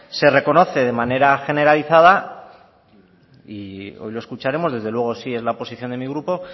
se reconoce de manera generalizada y hoy lo escucharemos desde luego sí es la posición de mi grupo